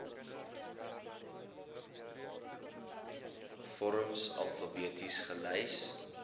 vorms alfabeties gelys